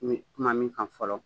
N bi kuma min kan fɔlɔ